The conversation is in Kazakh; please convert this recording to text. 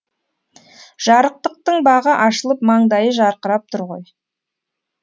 жарықтықтың бағы ашылып маңдайы жарқырап тұр ғой